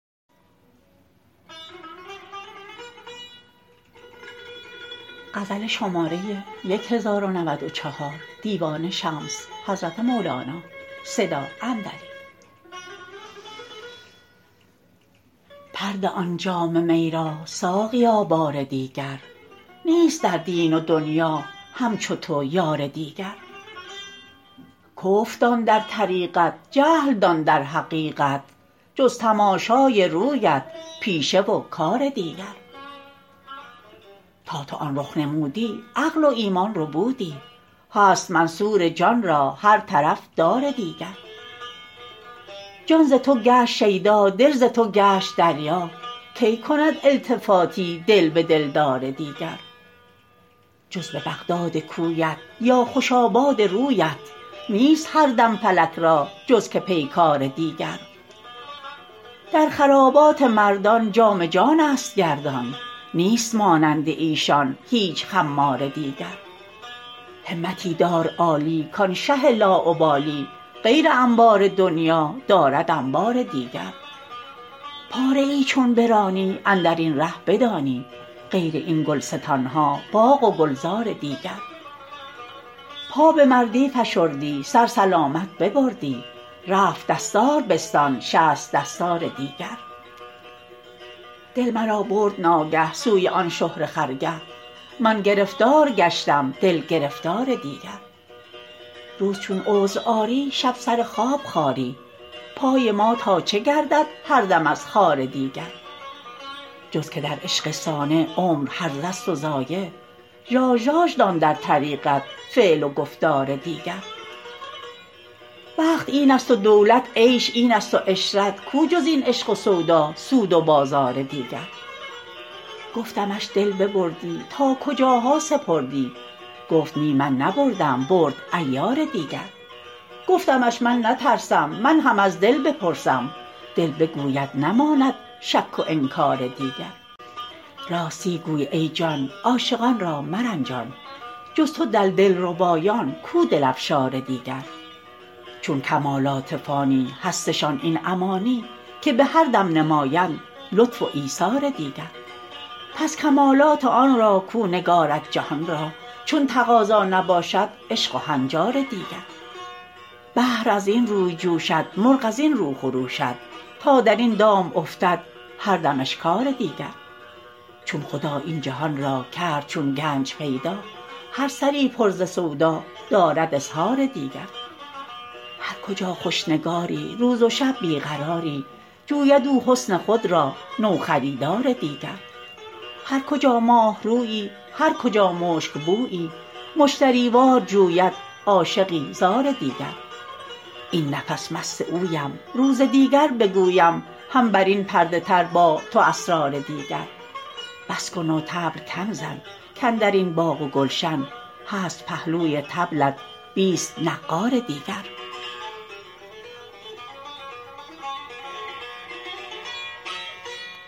پر ده آن جام می را ساقیا بار دیگر نیست در دین و دنیا همچو تو یار دیگر کفر دان در طریقت جهل دان در حقیقت جز تماشای رویت پیشه و کار دیگر تا تو آن رخ نمودی عقل و ایمان ربودی هست منصور جان را هر طرف دار دیگر جان ز تو گشت شیدا دل ز تو گشت دریا کی کند التفاتی دل به دلدار دیگر جز به بغداد کویت یا خوش آباد رویت نیست هر دم فلک را جز که پیکار دیگر در خرابات مردان جام جانست گردان نیست مانند ایشان هیچ خمار دیگر همتی دار عالی کان شه لاابالی غیر انبار دنیا دارد انبار دیگر پاره ای چون برانی اندر این ره بدانی غیر این گلستان ها باغ و گلزار دیگر پا به مردی فشردی سر سلامت ببردی رفت دستار بستان شصت دستار دیگر دل مرا برد ناگه سوی آن شهره خرگه من گرفتار گشتم دل گرفتار دیگر روز چون عذر آری شب سر خواب خاری پای ما تا چه گردد هر دم از خار دیگر جز که در عشق صانع عمر هرزه ست و ضایع ژاژ دان در طریقت فعل و گفتار دیگر بخت اینست و دولت عیش اینست و عشرت کو جز این عشق و سودا سود و بازار دیگر گفتمش دل ببردی تا کجاها سپردی گفت نی من نبردم برد عیار دیگر گفتمش من نترسم من هم از دل بپرسم دل بگوید نماند شک و انکار دیگر راستی گوی ای جان عاشقان را مرنجان جز تو در دلربایان کو دل افشار دیگر چون کمالات فانی هستشان این امانی که به هر دم نمایند لطف و ایثار دیگر پس کمالات آن را کو نگارد جهان را چون تقاضا نباشد عشق و هنجار دیگر بحر از این روی جوشد مرغ از این رو خروشد تا در این دام افتد هر دم اشکار دیگر چون خدا این جهان را کرد چون گنج پیدا هر سری پر ز سودا دارد اظهار دیگر هر کجا خوش نگاری روز و شب بی قراری جوید او حسن خود را نوخریدار دیگر هر کجا ماه رویی هر کجا مشک بویی مشتری وار جوید عاشقی زار دیگر این نفس مست اویم روز دیگر بگویم هم بر این پرده تر با تو اسرار دیگر بس کن و طبل کم زن کاندر این باغ و گلشن هست پهلوی طبلت بیست نعار دیگر